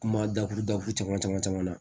Kuma dakuru dakuru caman caman caman caman na